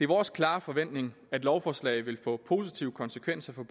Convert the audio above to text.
vores klare forventning at lovforslaget vil få positive konsekvenser for